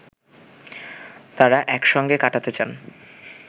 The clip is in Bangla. তাঁরা একসঙ্গে কাটাতে চান